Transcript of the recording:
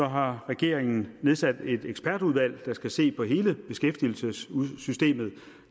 har regeringen nedsat et ekspertudvalg der skal se på hele beskæftigelsessystemet